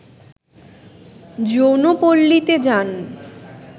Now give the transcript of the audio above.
যৌনপল্লীতে যান